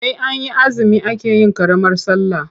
Sai an yi azumi ake yin ƙaramar sallah.